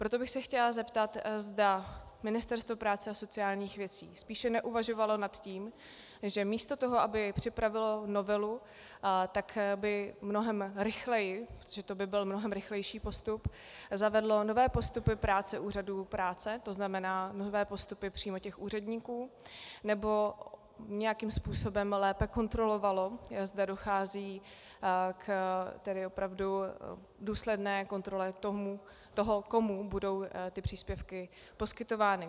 Proto bych se chtěla zeptat, zda Ministerstvo práce a sociálních věcí spíše neuvažovalo o tom, že místo toho, aby připravilo novelu, tak by mnohem rychleji, protože to by byl mnohem rychlejší postup, zavedlo nové postupy práce úřadů práce, to znamená nové postupy přímo těch úředníků, nebo nějakým způsobem lépe kontrolovalo, zda dochází k opravdu důsledné kontrole toho, komu budou ty příspěvky poskytovány.